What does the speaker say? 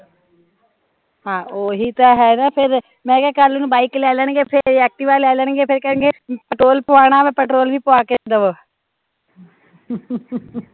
ਹਾਂ, ਓਹੀ ਤਾਂ ਹੈ ਨਾ ਫਿਰ ਮੈਂ ਕਿਹਾ ਕੱਲ ਨੂ ਬਾਈਕ ਲੈਣਗੇ ਫਿਰ ਏਹ ਐਕਟਿਵ ਲੈ ਲੈਣਗੇ ਫਿਰ ਕਹਿਣਗੇ ਪੈਟਰੋਲ ਪਵਾਉਣਾ ਵਾਂ ਪੈਟਰੋਲ ਵੀ ਪਵਾ ਕੇ ਦਵੋ